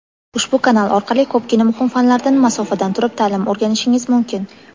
ushbu kanal orqali ko‘pgina muhim fanlardan masofadan turib ta’lim o‘rganishingiz mumkin.